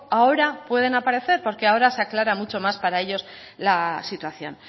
ahora pueden aparecer porque ahora se aclara mucho más para ellos la situación